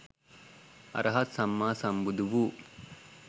අරහත් සම්මා සම්බුදු වූ